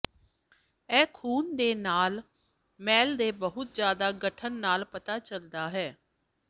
ਇਹ ਖ਼ੂਨ ਦੇ ਲਾਲ ਸੈੱਲ ਦੇ ਬਹੁਤ ਜ਼ਿਆਦਾ ਗਠਨ ਨਾਲ ਪਤਾ ਚੱਲਦਾ ਹੈ